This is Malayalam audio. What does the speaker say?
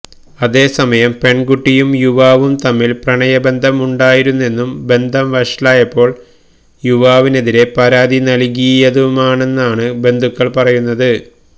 അതേസമയം പെണ്കുട്ടിയും യുവാവും തമ്മില് പ്രണയ ബന്ധം ഉണ്ടായിരുന്നെന്നും ബന്ധം വഷളായപ്പോള് യുവാവിനെതിരേ പരാതി നല്കിയതുമാണെന്നാണ് ബന്ധുക്കള് പറയുന്നത്